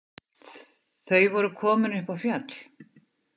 Þau voru komin upp á fjall.